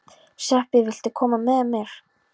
Sveppi, viltu hoppa með mér?